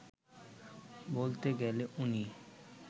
বলতে গেলে উনি